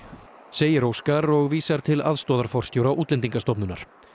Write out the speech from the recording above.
segir Óskar og vísar til aðstoðarforstjóra Útlendingastofnunar